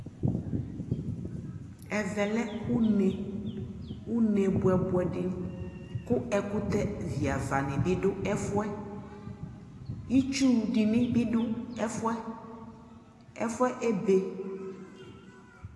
Ɛvɛ lɛ uneUne buɛbuɛ dιKu ɛkutɛ viava ni bi du ɛfuɛItsu wu di ni bi du ɛfuɛƐfuɛ ɛbɛ